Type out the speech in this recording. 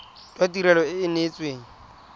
jwa tirelo e e neetsweng